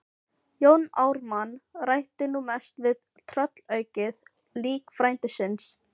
Jón Ármann ræddi nú mest við tröllaukið lík frænda síns.